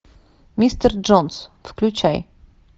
мистер джонс включай